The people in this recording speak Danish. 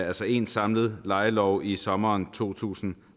altså én samlet lejelov i sommeren to tusind